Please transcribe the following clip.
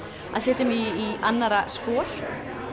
setja mig í annarra spor